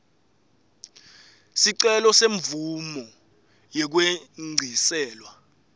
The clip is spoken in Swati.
sicelo semvumo yekwengciselwa